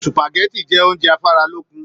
Supágẹ̀tì jẹ oúnjẹ afaralókun.